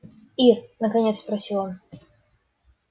ир наконец спросил он